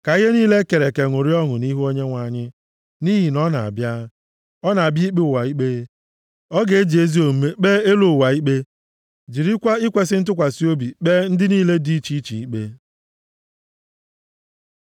Ka ihe niile e kere eke ṅụrịa ọṅụ nʼihu Onyenwe anyị, nʼihi na ọ na-abịa, ọ na-abịa ikpe ụwa ikpe. Ọ ga-eji ezi omume kpee elu ụwa ikpe, jirikwa ikwesi ntụkwasị obi kpee ndị niile dị iche iche ikpe.